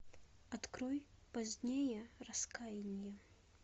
открой позднее раскаяние